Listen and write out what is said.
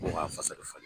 O y'a fasa de falen